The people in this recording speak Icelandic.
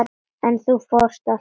En þú fórst alltof fljótt.